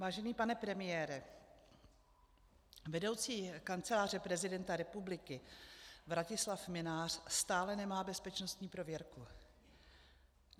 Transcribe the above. Vážený pane premiére, vedoucí Kanceláře prezidenta republiky Vratislav Mynář stále nemá bezpečnostní prověrku.